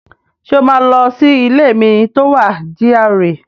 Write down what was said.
Ṣé o máa lọ sí ilé mi tó wà GRA?